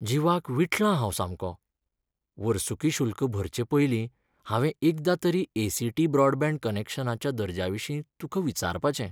जीवाक विटलां हांव सामको. वर्सुकी शुल्क भरचे पयलीं हांवें एकदां तरी ए. सी. टी. ब्रॉडबँड कनॅक्शनाच्या दर्ज्याविशीं तुका विचारपाचें.